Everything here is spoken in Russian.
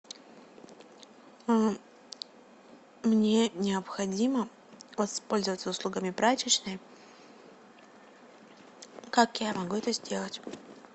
а мне необходимо воспользоваться услугами прачечной как я могу это сделать